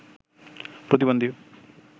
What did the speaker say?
প্রতিবন্ধী